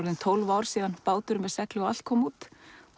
tólf ár síðan bátur með segli og allt kom út